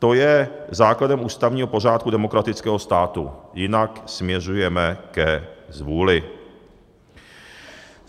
To je základem ústavního pořádku demokratického státu, jinak směřujeme ke zvůli.